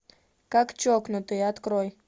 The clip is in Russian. как чокнутые открой